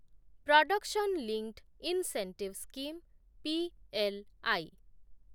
production linked incentive scheme PLI